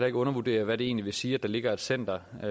ikke undervurdere hvad det egentlig vil sige at der ligger et center